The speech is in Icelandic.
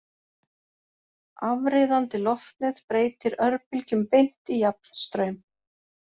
Afriðandi loftnet breytir örbylgjum beint í jafnstraum.